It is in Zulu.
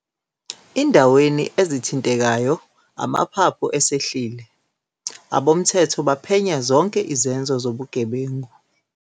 .indaweni ezithintekayo amaphaphu esehlile, abomthetho baphenya zonke izenzo zobugebengu.